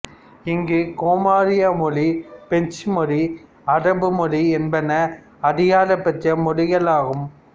இங்கு கொமொரிய மொழி பிரெஞ்சு மொழி அரபு மொழி என்பன அதிகாரப்பட்ச மொழிகளாகும்